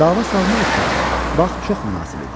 Dava salmaq üçün vaxt çox münasib idi.